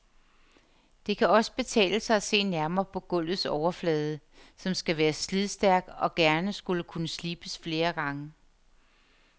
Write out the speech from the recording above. Det kan også betale sig at se nærmere på gulvets overflade, som skal være slidstærk og gerne skulle kunne slibes flere gange.